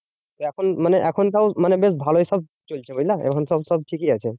এখন মানে এখন তাও মানে বেশ ভালোই সব চলছে বুঝলা? এখন সব সব ঠিকই আছে।